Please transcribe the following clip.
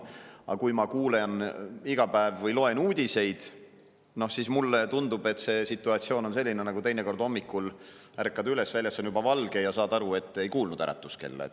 Aga kui ma iga päev kuulen või loen uudiseid, siis mulle tundub, et see situatsioon on selline nagu teinekord hommikul: ärkad üles, väljas on juba valge, ja saad aru, et ei kuulnud äratuskella.